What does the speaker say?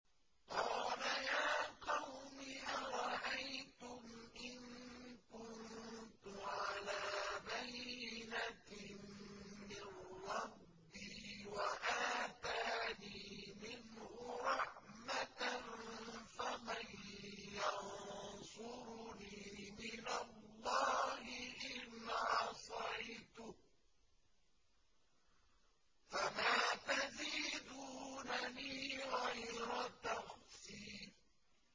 قَالَ يَا قَوْمِ أَرَأَيْتُمْ إِن كُنتُ عَلَىٰ بَيِّنَةٍ مِّن رَّبِّي وَآتَانِي مِنْهُ رَحْمَةً فَمَن يَنصُرُنِي مِنَ اللَّهِ إِنْ عَصَيْتُهُ ۖ فَمَا تَزِيدُونَنِي غَيْرَ تَخْسِيرٍ